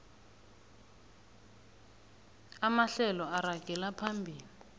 amahlelo aragela phambili